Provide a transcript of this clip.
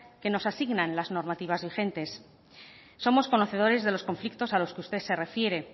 que nos asignan las normativas vigentes somos conocedores de los conflictos a los que usted se refiere